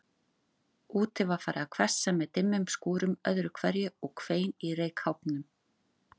Úti var farið að hvessa með dimmum skúrum öðru hverju, og hvein í reykháfnum.